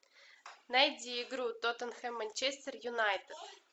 найди игру тоттенхэм манчестер юнайтед